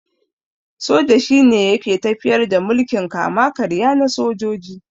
Soja shine yake tafiyar da mulkin kama-karya na sojoji.